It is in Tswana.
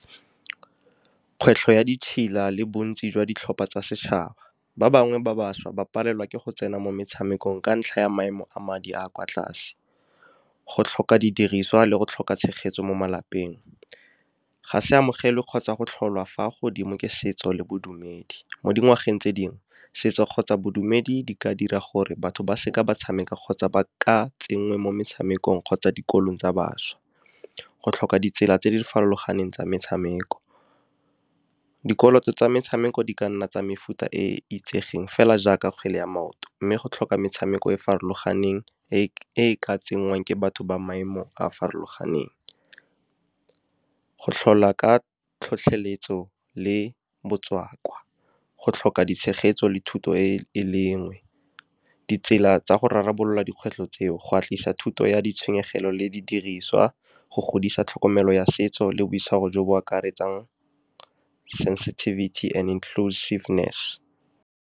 Kgwetlho ya ditšhila le bontsi jwa ditlhopha tsa setšhaba. Ba bangwe ba bašwa ba palelwa ke go tsena mo metshamekong ka ntlha ya maemo a madi a a kwa tlase, go tlhoka didiriswa le go tlhoka tshegetso mo malapeng, ga se amogele kgotsa go tlholwa fa godimo ke setso le bodumedi. Mo dingwageng tse dingwe setso kgotsa bodumedi di ka dira gore batho ba seka ba tshameka kgotsa ba ka tsenngwa mo metshamekong kgotsa dikolong tsa bašwa. Go tlhoka ditsela tse di farologaneng tsa metshameko, dikoloto tsa metshameko di ka nna tsa mefuta e e itsegeng fela jaaka kgwele ya maoto, mme go tlhoka metshameko e e farologaneng e e ka tsenngwang ke batho ba maemo a a farologaneng. Go tlhola ka tlhotlheletso le botswa kwa, go tlhoka ditshegetso le thuto, e lengwe ditsela tsa go rarabolola dikgwetlho tseo go agisa thuto ya ditshenyegelo le di diriswa go godisa tlhokomelo ya setso le boitshwaro jo bo akaretsang sensetivity and inclusiveness.